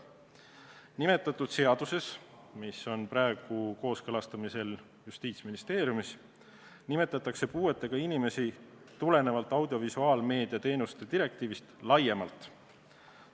Nimetatud seaduses, mis on praegu kooskõlastamisel Justiitsministeeriumis, käsitletakse puuetega inimesi tulenevalt audiovisuaalmeedia teenuste direktiivist laiemalt.